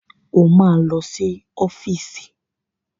O máa lọ sí ọ́fíìsì.